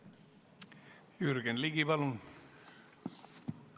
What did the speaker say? Jürgen Ligi, palun!